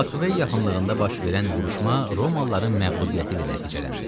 Sublakvey yaxınlığında baş verən vuruşma Romalıların məğlubiyyəti ilə nəticələndi.